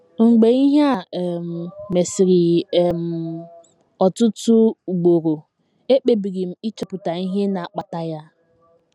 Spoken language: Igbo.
Mgbe ihe a um mesịrị um m ọtụtụ ugboro, ekpebiri m ịchọpụta ihe na - akpata ya.